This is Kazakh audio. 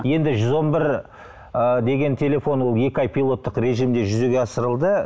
енді жүз он бір ы деген телефон ол екі ай пилоттық режимде жүзеге асырылды